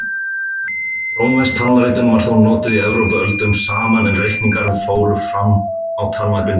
Rómversk talnaritun var þó notuð í Evrópu öldum saman en reikningar fóru fram á talnagrindum.